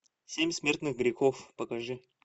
семь смертных грехов покажи